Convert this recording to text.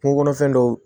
Kungo kɔnɔfɛn dɔw